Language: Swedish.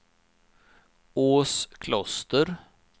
Åskloster